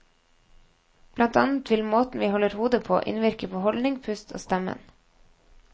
Blant annet vil måten vi holder hodet på, innvirke på holdning, pust og stemmen.